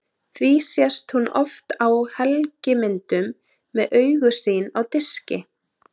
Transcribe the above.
Því sést hún oft á helgimyndum með augu sín á diski.